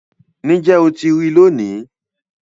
Níjẹ́ o tí rí lónì.